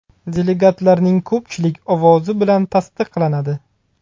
Delegatlarning ko‘pchilik ovozi bilan tasdiqlanadi.